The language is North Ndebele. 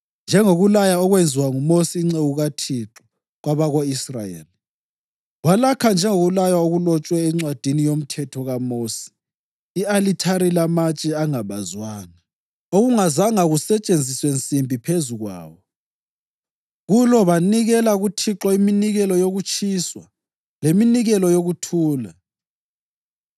Njengokulaya okwenziwa nguMosi inceku kaThixo kwabako-Israyeli, walakha njengokulaywa okulotshwe eNcwadini yoMthetho kaMosi i-alithari lamatshe angabazwanga, okungazanga kusetshenziswe nsimbi phezu kwawo. Kulo banikela kuThixo iminikelo yokutshiswa leminikelo yokuthula.